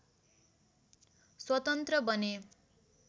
स्वतन्त्र बने